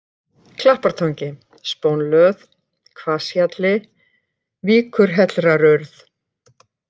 Klappartangi, Spónlöð, Hvasshjalli, Víkurhellrarurð